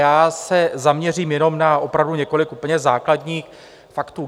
Já se zaměřím jenom na opravdu několik úplně základních faktů.